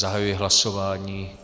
Zahajuji hlasování.